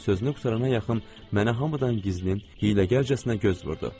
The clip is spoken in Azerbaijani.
Sözünü qurtarana yaxın mənə hamıdan gizlin, hiyləgərcəsinə göz vurdu.